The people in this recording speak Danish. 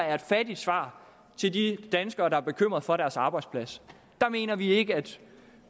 er et fattigt svar til de danskere der er bekymrede for deres arbejdspladser der mener vi ikke at